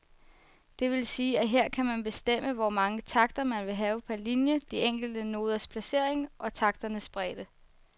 Det vil sige, at her kan man bestemme, hvor mange takter man vil have per linie, de enkelte noders placering og takternes bredde.